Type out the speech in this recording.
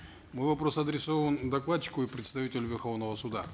мой вопрос адресован докладчику и представителю верховного суда